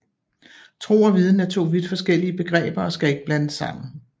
Tro og viden er to vidt forskellige begreber og skal ikke blandes sammen